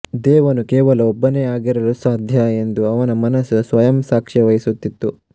ದೇವನು ಕೇವಲ ಒಬ್ಬನೇ ಆಗಿರಲು ಸಾಧ್ಯ ಎಂದು ಅವರ ಮನಸ್ಸು ಸ್ವಯಂ ಸಾಕ್ಷ್ಯವಹಿಸುತ್ತಿತ್ತು